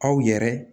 Aw yɛrɛ